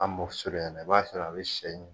An mɔko suruɲɛna i b'a sɔrɔ a bɛ shɛ in.